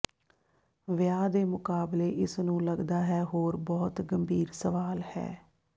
ਵਿਆਹ ਦੇ ਮੁਕਾਬਲੇ ਇਸ ਨੂੰ ਲੱਗਦਾ ਹੈ ਹੋਰ ਬਹੁਤ ਗੰਭੀਰ ਸਵਾਲ ਹੈ